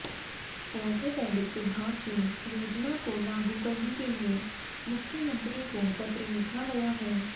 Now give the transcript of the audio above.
orthopaedic विभाग की योजना को लागू करने के लिए मुख्यमंत्री को पत्र लिखा गया है